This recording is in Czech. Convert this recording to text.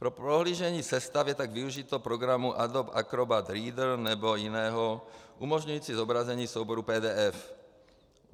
Pro prohlížení sestav je pak využito programu Adobe Acrobat Reader nebo jiného, umožňujícího zobrazení souborů PDF.